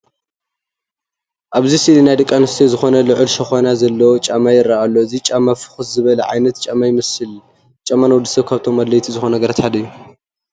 ኣብዚ ስእሊ ናይ ደቂ ኣንስትዮ ዝኾነ ልዑል ሸኾና ዘለዎ ጫማ ይርአ ኣሎ። እቲ ጫማ ፍኹስ ዝበለ ዓይነት ጫማ ይመሰል። ጫማ ንወዲ ሰብ ካብቶም ኣድለይቲ ዝባሃሉ ነገራት ሓደ እዩ።